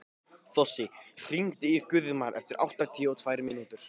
Þossi, hringdu í Guðmar eftir áttatíu og tvær mínútur.